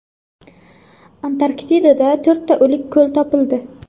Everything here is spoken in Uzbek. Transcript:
Antarktidada to‘rtta o‘lik ko‘l topildi.